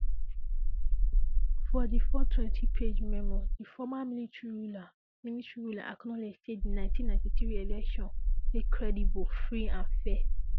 for di four twenty page memoir di former military ruler military ruler acknowledge say di 1993 election dey credible free and fair